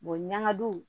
ɲaŋadu